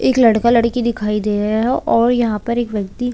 एक लड़का लड़की दिखाई दे रहे है और यहाँ पर एक व्यक्ति--